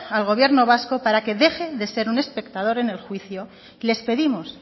al gobierno vasco para que deje de ser un espectador en el juicio les pedimos